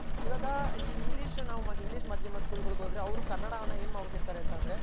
ಇವಾಗ English ನಾವ್ English ಮಾಧ್ಯಮ School ಗಳ್ಗ್ ಹೋದ್ರೆ ಅವ್ರ್ ಕನ್ನಡವನ ಏನ್ ಮಾಡ್ ಬಿಟ್ತಿರ್ತಾರ್ ಅಂದ್ರೆ